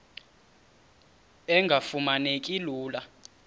engafuma neki lula